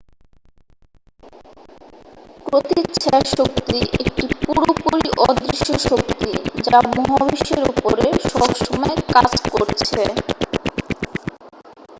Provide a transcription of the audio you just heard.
প্রতিচ্ছায়া শক্তি একটি পুরোপুরি অদৃশ্য শক্তি যা মহাবিশ্বের উপরে সবসময় কাজ করছে